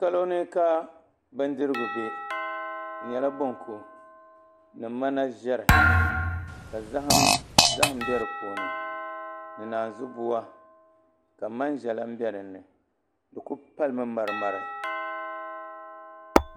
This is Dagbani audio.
Poloni ka bindirigu be dinyɛla bonku ni manaʒɛri ka zahim be dipuuni ni naanzubua ka maiʒa gba be dinni dikuli palimi marimari.